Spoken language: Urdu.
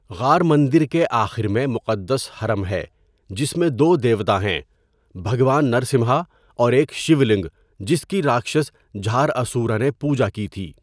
غار مندر کے آخر میں مقدس حرم ہے جس میں دو دیوتا ہیں بھگوان نرسمہا اور ایک شیو لِنگا جس کی راکشس جھاراسورا نے پوجا کی تھی.